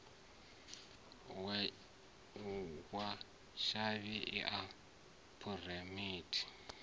wa tshavhi i a phurinthiwa